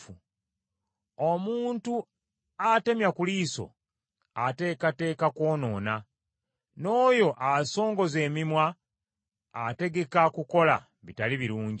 Omuntu atemya ku liiso ateekateeka kwonoona, n’oyo asongoza emimwa ategeka kukola bitali birungi.